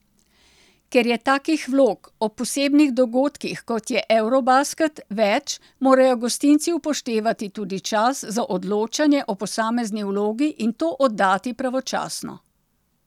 Ker je takih vlog ob posebnih dogodkih, kot je eurobasket, več, morajo gostinci upoštevati tudi čas za odločanje o posamezni vlogi in to oddati pravočasno.